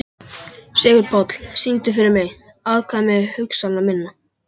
Sigurpáll, syngdu fyrir mig „Afkvæmi hugsana minna“.